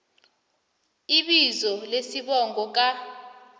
ibizo nesibongo ka